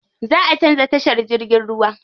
Zaʼa canza tashar jirgin ruwa.